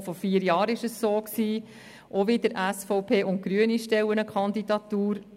Auch vor vier Jahren war es so, auch stellen wieder SVP und Grüne eine Kandidatur.